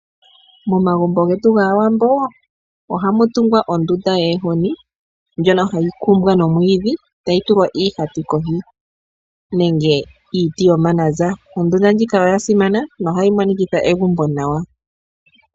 Momagumbo getu gAawambo ohamu tungwa ondunda yoohozi ndjono hayi kumbwa nomwiidhi tayi tulwa iihati kohi nenge iiti yomananza . Ondunda ndjika oya simana nohayi monikitha egumbo nawa.